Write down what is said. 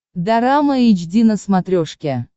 дорама эйч ди на смотрешке